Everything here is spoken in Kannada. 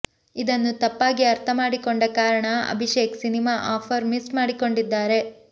ಇದನ್ನು ತಪ್ಪಾಗಿ ಅರ್ಥ ಮಾಡಿಕೊಂಡ ಕಾರಣ ಅಭಿಷೇಕ್ ಸಿನಿಮಾ ಆಫರ್ ಮಿಸ್ ಮಾಡಿಕೊಂಡಿದ್ದಾರೆ